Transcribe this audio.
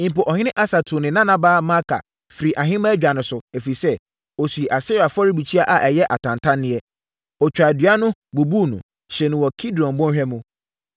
Mpo ɔhene Asa tuu ne nanabaa Maaka firii ahemaadwa no so, ɛfiri sɛ, ɔsii Asera afɔrebukyia a ɛyɛ atantanneɛ. Ɔtwaa dua no, bubuu mu, hyee no wɔ Kidron bɔnhwa mu.